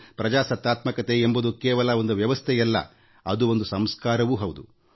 ಪ್ರಜಾಪ್ರಭುತ್ವ ಕೇವಲ ಒಂದು ವ್ಯವಸ್ಥೆಯಲ್ಲ ಅದು ಒಂದು ಸಂಸ್ಕಾರವೂ ಹೌದು